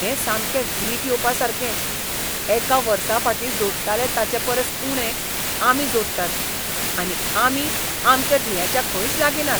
हें सामकें वीट येवपासारकें! एका वर्साफाटीं जोडटाले ताचेपरस उणें आमी जोडटात आनी आमी आमच्या ध्येयाच्या खंयच लागीं नात.